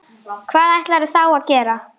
Hvað ætlarðu þá að gera?